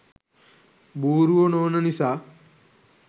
බූරුවො නොවන නිසා.